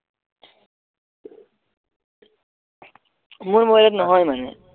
মোৰ mobile নহয় মানে